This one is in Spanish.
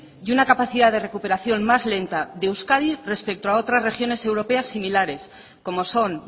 y una capacidad de recuperación más lenta de euskadi respeto a otras regiones europeas similares como son